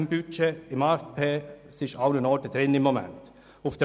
Der Betrag ist sowohl im Budget als auch im AFP enthalten.